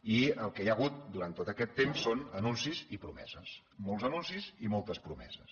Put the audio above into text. i el que hi ha hagut durant tot aquest temps són anuncis i promeses molts anuncis i moltes promeses